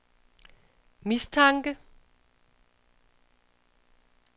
mistanke